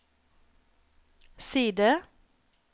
side